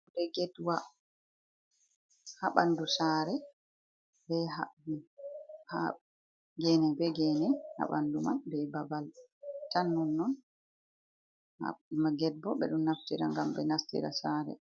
"Getwa ha ɓandu saare ha ɓandu man be babal tan nonon ma get bo ɓeɗo naftira ngam be nastira saare.